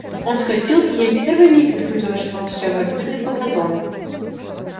он вскочил и ей в первый миг почудилось что он сейчас запрыгает по газонам